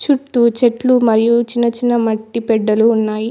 చుట్టూ చెట్లు మరియు చిన్న చిన్న మట్టి పెడ్డలు ఉన్నాయి.